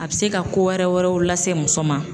A bɛ se ka ko wɛrɛ wɛrɛw lase muso ma.